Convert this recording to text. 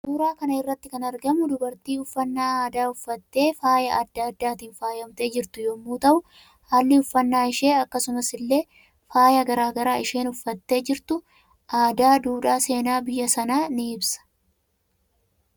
Suuraa kanarratti kanarratti kan argamu dubartii uffannaa aadaa uffattee faayaa adda addaatiin faayamtee jirtu yommuu ta'u halli uffannaa ishee akkasumas ille faaya garaa garaa isheen uffattee jirtu aadaa duudhaa seenaa biyyya sana ni I sa